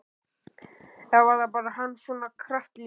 Eða var hann bara svona kraftlítill?